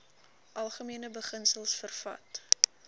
algemene beginsels vervat